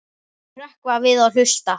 Þau hrökkva við og hlusta.